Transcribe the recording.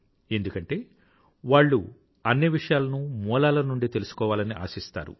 ఎందుకంటే వాళ్ళు అన్ని విషయలనూ మూలాల నుండి తెలుసుకోవాలని ఆశిస్తారు